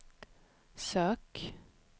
sök